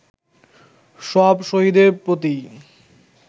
সব শহীদের প্রতি